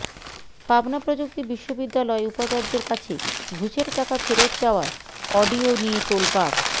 পাবনা প্রযুক্তি বিশ্ববিদ্যালয় উপাচার্যের কাছে ঘুষের টাকা ফেরত চাওয়ার অডিও নিয়ে তোলপাড়